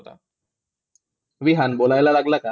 विहान बोलायला लागला का?